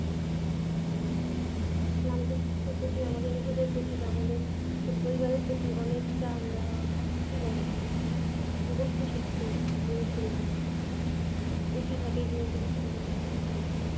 আমাদের নিজেদের প্রতি আমাদের পরিবারের প্রতি অনেক তা কি বলে বুঝতে শিখছি জিনিস গুলা কি ভাবে আহ আহ